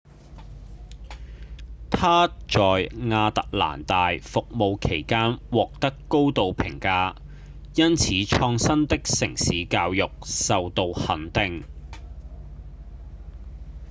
她在亞特蘭大服務期間獲得高度評價並因創新的城市教育受到肯定